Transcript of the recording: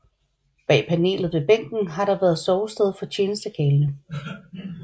Bag panelet ved bænken har der været sovested for tjenestekarlene